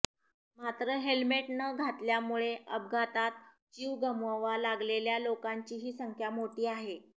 मात्र हेल्मेट न घातल्यामुळे अपघातात जीव गमवावा लागलेल्या लोकांचीही संख्या मोठी आहे